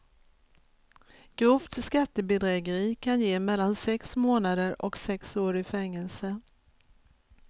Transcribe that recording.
Grovt skattebedrägeri kan ge mellan sex månader och sex år i fängelse.